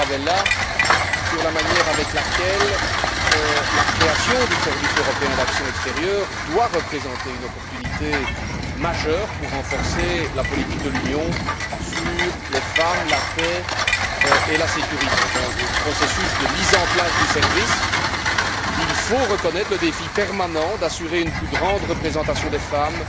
Tarabella sur la façon dont la création du service européen pour l'action extérieure doit représenter une opportunité majeure pour renforcer la politique de l'Union sur les femmes, la paix et la sécurité? Dans le processus de mise en place du service, il faut reconnaître le défi permanent d'assurer une plus grande représentation des femmes